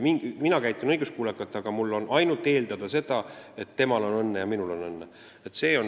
Mina käitun õiguskuulekalt, aga mul jääb üle ainult loota, et temal on õnne ja minul on õnne.